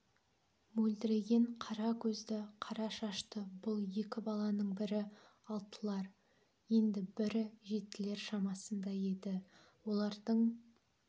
мөлдіреген қара көзді қара шашты бұл екі баланың бірі алтылар енді бірі жетілер шамасында еді олардың